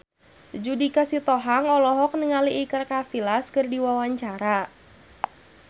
Judika Sitohang olohok ningali Iker Casillas keur diwawancara